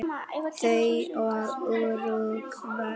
Þau og Úrúgvæ.